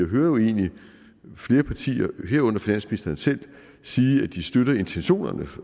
hører jo egentlig flere partier herunder finansministeren selv sige at de støtter intentionerne